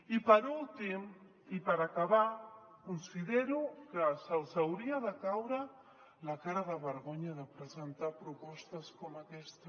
i per últim i per acabar considero que els hauria de caure la cara de vergonya de presentar propostes com aquesta